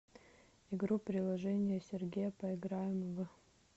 игру приложение сергея поиграем в